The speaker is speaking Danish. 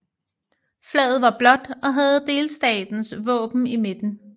Flaget var blåt og havde delstatens våben i midten